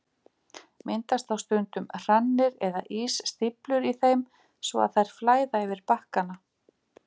Myndast þá stundum hrannir eða ísstíflur í þeim svo að þær flæða yfir bakkana.